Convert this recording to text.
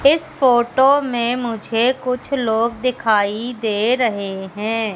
इस फोटो में मुझे कुछ लोग दिखाई दे रहे हैं।